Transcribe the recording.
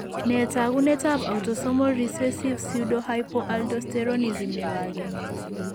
Nee taakunetaab autosomal recessive pseudohypoaldosteronism nebo 1?